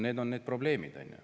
Need on need probleemid.